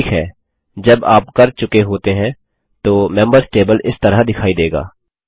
ठीक हैजब आप कर चुके होते हैं तो मेम्बर्स टेबल इस तरह दिखाई देगा